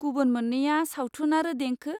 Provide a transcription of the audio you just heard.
गुबुन मोन्नैया सावथुन आरो देंखो।